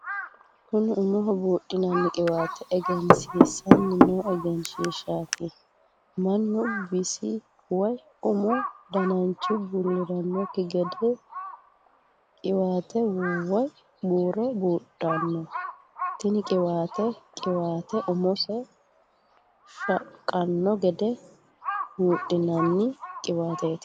Kunni umaho buudhinnanni qiwaate egensiisanni noo egenshiishaati. Manu bisi woyi umu dannanchi bulirannoki gede qiwaate woyi buuro buudhano. Tinni qiwaate qiwaate umu shaqano gede buudhinnanni qiwaateeti.